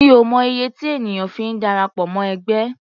Mi ò mọ iye tí ènìyàn fi ń darapọ̀ mọ́ ẹgbẹ́.